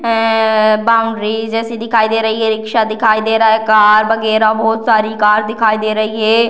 ऐए boundary जैसी दिखाई दे रही है रिक्शा दिखाए दे रहा है कार वगेरा बहुत सारी कार दिखाई दे रही है।